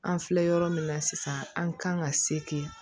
An filɛ yɔrɔ min na sisan an kan ka se ten